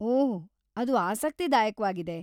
ಓಹ್‌, ಅದು ಆಸಕ್ತಿದಾಯಕ್ವಾಗಿದೆ.